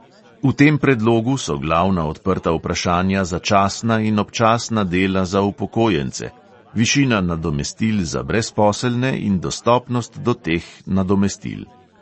V tem predlogu so glavna odprta vprašanja začasna in občasna dela za upokojence, višina nadomestil za brezposelne in dostopnost do teh nadomestil.